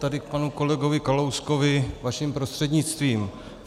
Tady k panu kolegovi Kalouskovi vaším prostřednictvím.